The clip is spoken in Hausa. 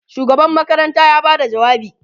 shugaban makaranta ya Bada jawabi